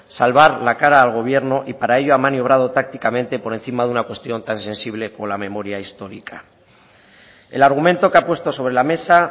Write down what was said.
salvar la cara al gobierno y para ello ha maniobrado tácticamente por encima de una cuestión tan sensible como la memoria histórica el argumento que ha puesto sobre la mesa